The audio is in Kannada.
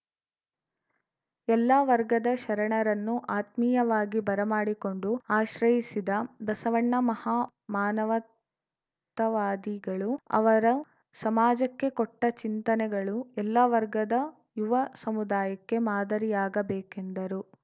ಎಲ್ಲ ವರ್ಗದ ಶರಣರನ್ನು ಆತ್ಮೀಯವಾಗಿ ಬರಮಾಡಿಕೊಂಡು ಆಶ್ರಸಿದ ಬಸವಣ್ಣ ಮಹಾ ಮಾನವತವಾದಿಗಳು ಅವರ ಸಮಾಜಕ್ಕೆ ಕೊಟ್ಟಚಿಂತನೆಗಳು ಎಲ್ಲ ವರ್ಗದ ಯುವ ಸಮುದಾಯಕ್ಕೆ ಮಾದರಿಯಾಗಬೇಕೆಂದರು